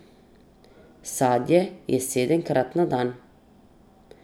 Sadje je sedemkrat na dan.